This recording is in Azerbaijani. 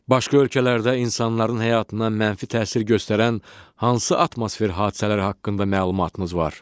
Başqa ölkələrdə insanların həyatına mənfi təsir göstərən hansı atmosfer hadisələri haqqında məlumatınız var?